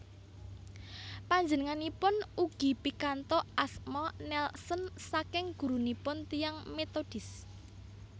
Panjenenganipun ugi pikantuk asma Nelson saking gurunipun tiyang Metodis